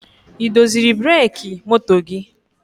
Ị doziri breki moto gị?